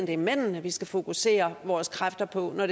det er mændene vi skal fokusere vores kræfter på når